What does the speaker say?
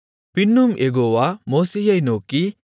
பின்னும் யெகோவா மோசேயை நோக்கி